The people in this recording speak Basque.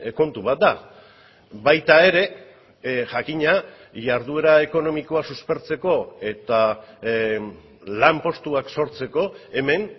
kontu bat da baita ere jakina jarduera ekonomikoa suspertzeko eta lanpostuak sortzeko hemen